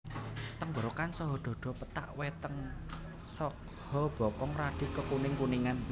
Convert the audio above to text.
Tenggorokan saha dhadha pethak weteng saha bokong radi kekuning kuningan